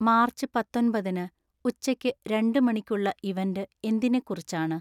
March പത്തൊൻപത്തിന് ഉച്ചയ്ക്ക് രണ്ട് മണിക്കുള്ള ഇവൻ്റ് എന്തിനെ കുറിച്ചാണ്?